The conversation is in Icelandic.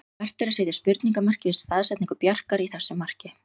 Vert er að setja spurningarmerki við staðsetningu Bjarkar í þessu marki.